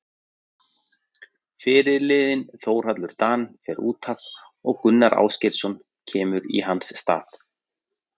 Fyrirliðinn Þórhallur Dan fer útaf og Gunnar Ásgeirsson kemur í hans stað.